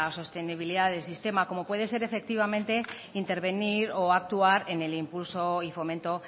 sostenibilidad del sistema como puede ser efectivamente intervenir o actuar en el impulso y fomento